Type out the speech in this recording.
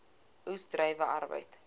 oes druiwe arbeid